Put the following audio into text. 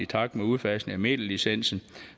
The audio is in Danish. takt med udfasningen af medielicensen